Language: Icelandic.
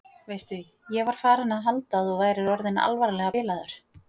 Veistu. ég var farin að halda að þú værir orðinn alvarlega bilaður!